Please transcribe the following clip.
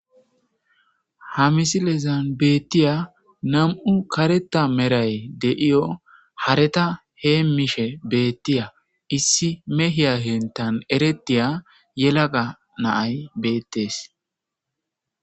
Ha misilezan beettiya nam,u kareta meray deiyo hareta heemishe beettiya issi mehiya hentan eretiya yelaga naay beettees.